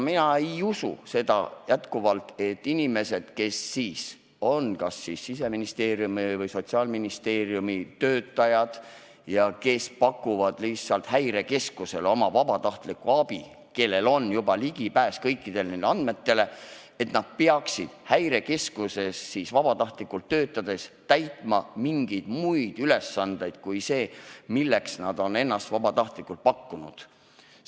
Mina endiselt ei usu, et inimesed, kes on kas Siseministeeriumi või Sotsiaalministeeriumi töötajad ja kes pakuvad Häirekeskusele vabatahtlikuna oma abi ja kellel juba on ligipääs kõikidele nendele andmetele, peaksid Häirekeskuses vabatahtlikuna töötades täitma mingisuguseid muid ülesandeid kui see, milleks nad on ennast vabatahtlikult pakkunud.